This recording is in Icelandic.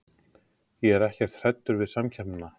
Ég er ekkert hræddur við samkeppnina.